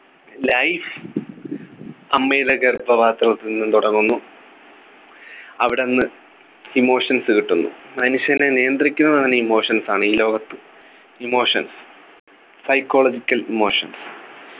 life അമ്മയുടെ ഗർഭപാത്രത്തിൽ നിന്നും തുടങ്ങുന്നു അവിടെന്നു emotions കിട്ടുന്നു മനുഷ്യനെ നിയന്ത്രിക്കുന്നത് തന്നെ emotions ആണ് ഈ ലോകത്ത് emotions Psychological emotions